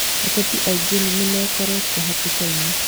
Ateti aingĩ nĩmekorete hatĩkainĩ